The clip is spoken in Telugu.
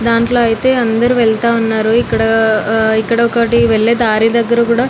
దాంట్లో అయితే అందరు వెళ్తా ఉన్నారు ఇక్కడ ఒకటి వెళ్లే దారి దగ్గర కూడా --